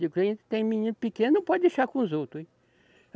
Digo, a gente tem menino pequeno, não pode deixar com os outros, hein?